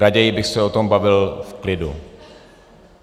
Raději bych se o tom bavil v klidu.